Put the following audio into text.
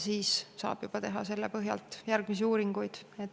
Siis saab selle põhjal teha juba järgmisi uuringuid.